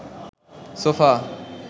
sofa